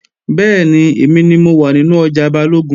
Bẹ́ẹ̀ni, èmi ni mo wà nínú ọjà Balógun